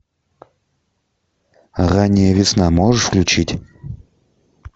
ранняя весна можешь включить